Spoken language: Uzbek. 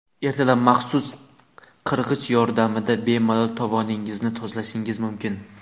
Ertalab maxsus qirg‘ich yordamida bemalol tovoningizni tozalashingiz mumkin.